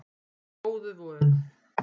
Góðu vön